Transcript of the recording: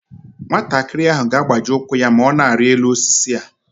Nwatakịrị ahụ ga-agbaji ụkwụ ya ma ọ na-arị elu osisi a